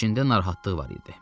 İçində narahatlıq var idi.